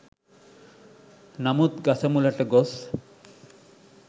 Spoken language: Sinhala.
නමුත් ගස මුලට ගොස්